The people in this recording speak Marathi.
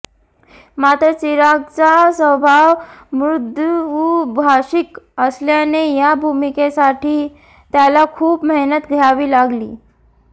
मात्र चिरागचा स्वभाव मृदूभाषिक असल्याने या भूमिकेसाठी त्याला खूप मेहनत घ्यावी लागली